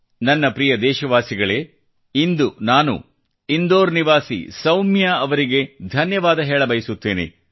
ನನ್ನ ಪ್ರಿಯ ದೇಶವಾಸಿಗಳೇ ಇಂದು ನಾನು ಇಂದೋರ್ ನಿವಾಸಿ ಸೌಮ್ಯಾ ಅವರಿಗೆ ಧನ್ಯವಾದ ಹೇಳ ಬಯಸುತ್ತೇನೆ